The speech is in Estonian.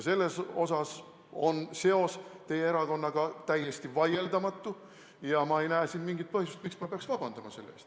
Selles osas on seos teie erakonnaga täiesti vaieldamatu ja ma ei näe mingit põhjust, miks ma peaks selle ees vabandama.